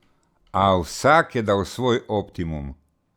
A vsak je dal svoj optimum.